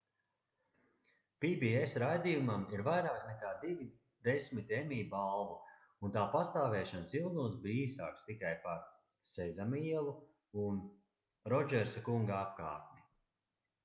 pbs raidījumam ir vairāk nekā divi desmiti emmy balvu un tā pastāvēšanas ilgums bija īsāks tikai par sezama ielu un rodžersa kunga apkārtni